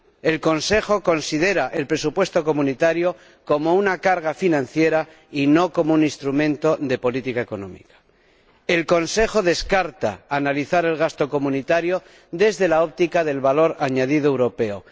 El Consejo considera el presupuesto de la UE como una carga financiera y no como un instrumento de política económica. El Consejo descarta analizar el gasto de la UE desde la óptica del valor añadido europeo.